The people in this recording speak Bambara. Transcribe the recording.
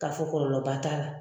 K'a fɔ kɔlɔlɔba t'a la.